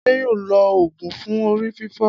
Adé yóò lo òògùn fún orí fífọ́.